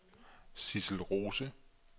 Sidsel Rose